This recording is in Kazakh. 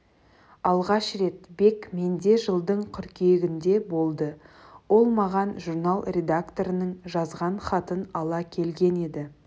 алғаш рет бек менде жылдың қыркүйегінде болды ол маған журнал редакторының жазған хатын ала келген еді